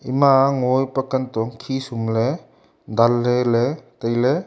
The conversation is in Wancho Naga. ima ngo ang pa kantong khi sumle danley ley tailey.